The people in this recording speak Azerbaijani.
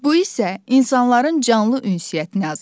Bu isə insanların canlı ünsiyyətini azaldır.